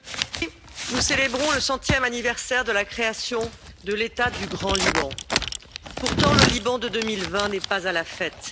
Monsieur le Président, nous célébrons le centième anniversaire de la création de l'État du Grand Liban. Pourtant, le Liban de 2020 n'est pas à la fête.